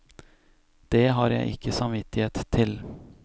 Det har jeg ikke samvittighet til.